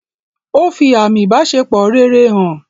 Ó fi àmi ìbáṣepọ̀ rere hàn.